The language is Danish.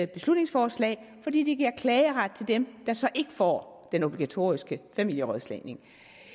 beslutningsforslag fordi det giver klageret til dem der så ikke får den obligatoriske familierådslagning